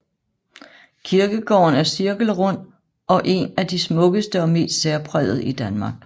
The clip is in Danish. Kirkegården er cirkelrund og en af de smukkeste og mest særprægede i Danmark